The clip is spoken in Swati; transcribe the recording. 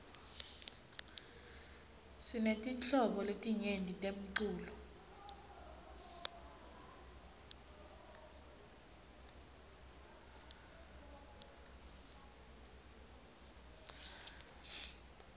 sinetinhlobo letinyenti temcuco